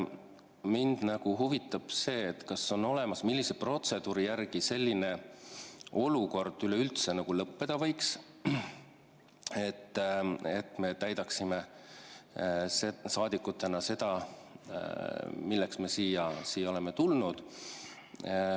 Mind huvitab, millise protseduuri järgi selline olukord üleüldse lõppeda võiks, et me saaksime saadikutena täita seda, milleks me siia oleme tulnud.